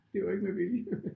Det var ikke med vilje